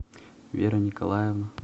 вера николаевна